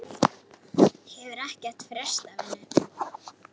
Hefur ekkert frést af henni?